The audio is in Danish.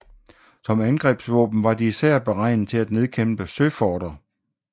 Som angrebsvåben var de især beregnet til at nedkæmpe søforter